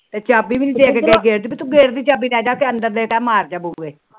ਚਾਬੀ ਵੀ ਨੀ ਦੇਕੇ ਗਈ ਗੇਟ ਦੀ ਚਾਬੀ ਅੰਦਰ